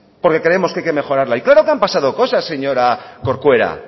porque creemos que hay que mejorarla y claro que han pasado cosas señora corcuera